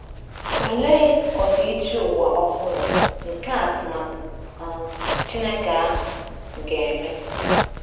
Olee ọdịiche ụwa ọhụrụ nke atụmatụ um Chineke ahụ ga-eme!